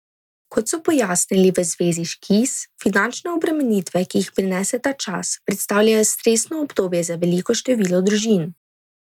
Kot so pojasnili v Zvezi Škis, finančne obremenitve, ki jih prinese ta čas, predstavljajo stresno obdobje za veliko število družin.